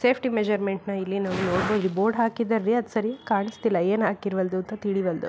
Safety ಮೆಸರ್ಮೆಂಟ್ನ ಇಲ್ಲಿ ನಾವು ನೋಡಬಹುದು ಬೋರ್ಡ್ ಹಾಕಿದ್ದಾರ್ ರೀ ಅದ್ ಸರಿ ಕಾಣಿಸ್ತಿಲ್ಲ ಏನ್ ಹಾಕಿದ್ದಾರ್ ಅಂತ ತಿಳಿವಲ್ದು.